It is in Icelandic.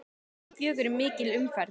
Klukkan fjögur er mikil umferð.